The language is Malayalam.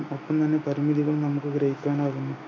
നമുക്ക് ഗ്രഹിക്കാനാകുമോ